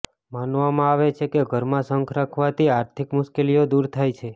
માનવામાં આવે છે કે ઘરમાં શંખ રાખવાથી આર્થિક મુશ્કેલીઓ દૂર થાય છે